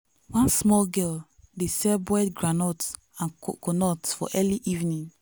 one small girl dey sell boiled groundnut and coconut for early evening.